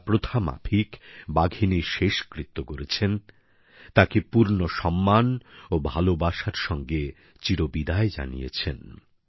তারা প্রথামাফিক বাঘিনীর শেষকৃত্য করেছেন তাকে পূর্ণ সম্মান ও ভালোবাসার সঙ্গে চিরবিদায় জানিয়েছেন